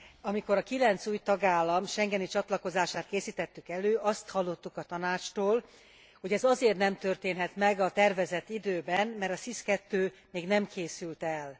Amikor a kilenc új tagállam schengeni csatlakozását készítettük elő, azt hallottuk a Tanácstól, hogy ez azért nem történhet meg a tervezett időben, mert a SIS II még nem készült el.